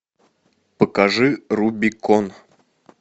покажи рубикон